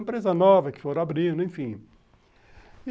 Empresas novas que foram abrindo, enfim.